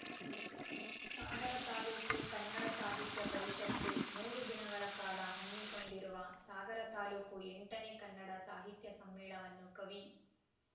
ಸಾಗರ ತಾಲೂಕು ಕನ್ನಡ ಸಾಹಿತ್ಯ ಪರಿಷತ್ತು ಮೂರು ದಿನಗಳ ಕಾಲ ಹಮ್ಮಿಕೊಂಡಿರುವ ಸಾಗರ ತಾಲೂಕು ಎಂಟನೇ ಕನ್ನಡ ಸಾಹಿತ್ಯ ಸಮ್ಮೇಳನವನ್ನು ಕವಿ